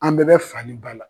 An bɛɛ bɛ fa ni ba la.